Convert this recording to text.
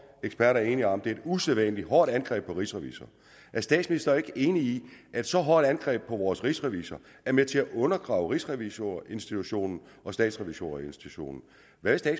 eksperter er enige om at det er et usædvanlig hårdt angreb på rigsrevisor er statsministeren ikke enig i at så hårdt et angreb på vores rigsrevisor er med til at undergrave rigsrevisorinstitutionen og statsrevisorinstitutionen hvad